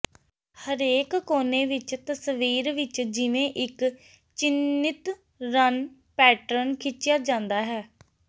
ਹਰੇਕ ਕੋਨੇ ਵਿਚ ਤਸਵੀਰ ਵਿਚ ਜਿਵੇਂ ਇਕ ਚਿੰਨ੍ਹਿਤ ਰੰਨ ਪੈਟਰਨ ਖਿੱਚਿਆ ਜਾਂਦਾ ਹੈ